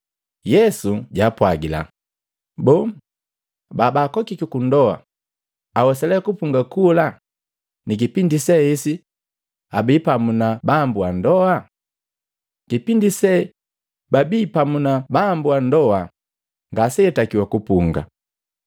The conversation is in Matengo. Yesu jaapwagila, “Boo, babaakokiki kundoa awesa lee kupunga kula ni kipindi se esi abii pamu na bambu wa ndoa? Kipindi se babii pamu na bambu wa ndoa ngaseatakiwa kupunga.